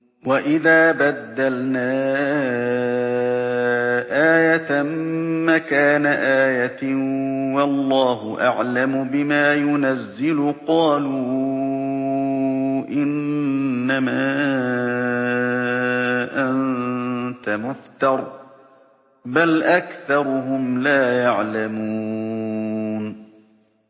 وَإِذَا بَدَّلْنَا آيَةً مَّكَانَ آيَةٍ ۙ وَاللَّهُ أَعْلَمُ بِمَا يُنَزِّلُ قَالُوا إِنَّمَا أَنتَ مُفْتَرٍ ۚ بَلْ أَكْثَرُهُمْ لَا يَعْلَمُونَ